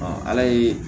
ala ye